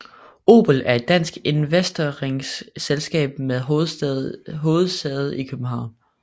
Obel er et dansk investeringsselskab med hovedsæde i København